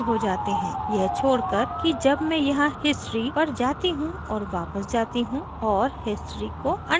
यह छोड़कर कि जब मैं यहाँ history पर जाती हूँ और वापस जाती हूँ और history को undo करती हूँ